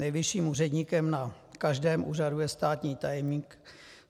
Nejvyšším úředníkem na každém úřadu je státní tajemník.